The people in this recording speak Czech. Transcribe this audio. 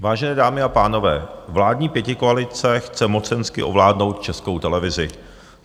Vážené dámy a pánové, vládní pětikoalice chce mocensky ovládnout Českou televizi.